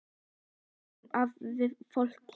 Ég er fullur af fólki.